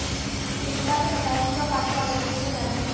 पीड़िता ने बताया कि वह पांचों आरोपियों को जानती है